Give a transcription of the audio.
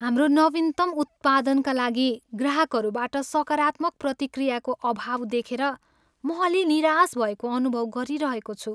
हाम्रो नवीनतम उत्पादनका लागि ग्राहकहरूबाट सकारात्मक प्रतिक्रियाको अभाव देखेर म अलि निराश भएको अनुभव गरिरहेको छु।